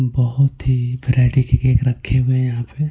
बहुत ही वैरायटी के केक रखे हुए हैं यहां पे.